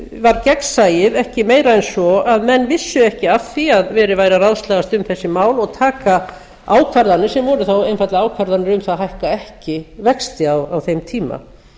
var gegnsæið ekki meira en svo að menn vissu ekki af því að verið væri að ráðslagast um þessi mál og taka ákvarðanir sem voru þá einfaldlega ákvarðanir um það að hækka ekki vexti á þeim tíma